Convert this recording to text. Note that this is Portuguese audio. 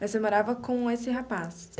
Mas você morava com esse rapaz?